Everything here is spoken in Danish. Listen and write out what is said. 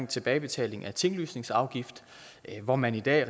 tilbagebetaling af tinglysningsafgift hvor man i dag